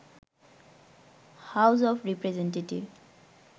house of representative